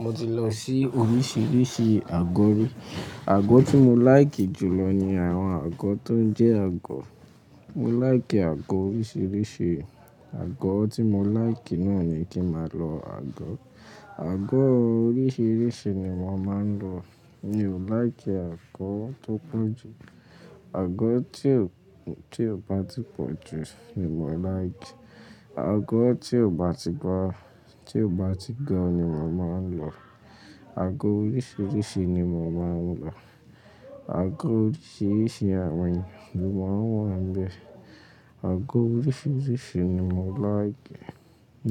Mo ti lọ sí oríṣiríṣi àgọ́ rí. Àgọ́ tí mo láìkì jùlọ ni àwọn àgọ́ tó jẹ́ àgọ́. Mo láìkì àgọ́ oríṣiríṣi. Àgọ́ tí mo láìkì náà ni kí n máa lọ àgọ́. Àgọ́ oríṣiríṣi ni mo máa ń lọ. Mi ò láìkì àgọ́ tó pọ̀ jù. Àgọ́ tí ò bá ti pọ̀ jù ni mo láìkì. Àgọ́ tí ò bá ti gbá, tí ò bá ti gọ̀ ni mo máa ń lọ. Àgọ́ oríṣiríṣi ni mo máa ń lọ. Àgọ́ oríṣiríṣi àwọn ènìyàn ni mo máa ń wá níbẹ̀. Àgọ́ oríṣiríṣi ni mo láìkì.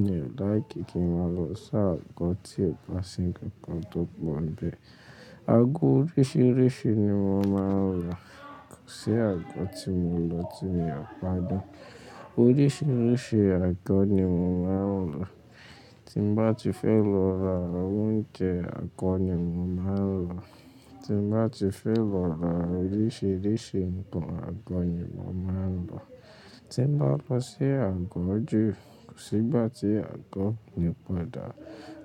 Mi ò láìkì kí n máa lọ sí àgọ́ tí kò bá sí ǹkan tó pọ̀ níbẹ̀. Àgọ́ oríṣiríṣi ni mo máa ń lọ. Kò sí àgọ́ tí mo lọ tí mi ò padà. Oríṣiríṣi àgọ́ ni mo máa ń lọ. Tí n bá ti fẹ́ lọ ra oúnjẹ, àgọ́ ni mo máa ń lọ. Tí n bá ti fẹ́ lọ ra oríṣiríṣi ǹkan, àgọ́ ni mo máa ń lọ. Tí n bá lọ sí àgọ́ ju, kò sí ìgbà tí àgọ́ o ni kò ni padà.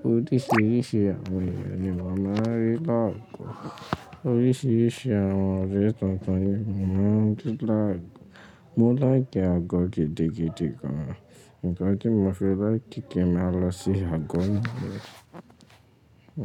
Oríṣiríṣi àwọn ènìyàn ni mo máa ń rí l'àgọ́. Oríṣiríṣi àwọn ọ̀rẹ́ tuntun ni mo máa ń ri l'àgọ́. Mo láìkì àgọ́ gidi, gidi gan. Ǹkan tí mo fi láìkì kí n máa lọ sí àgọ́ ni.